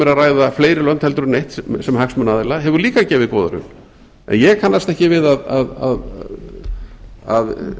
ætla fleiri lönd en eitt sem hagsmunaaðila hefur líka gefið góða raun en ég kannast ekki við að